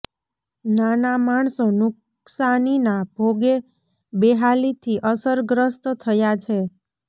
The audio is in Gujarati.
નાના માણસો નુકશાનીના ભોગે બેહાલીથી અસર ગ્રસ્ત થયા છે